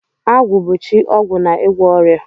Agwu bu chi ogwu na igwo oria.